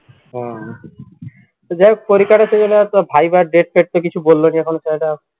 হুম তো যাইহোক পরীক্ষা viva এর date টেট তো কিছু বললনী এখন